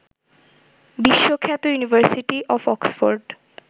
বিশ্বখ্যাত university of Oxford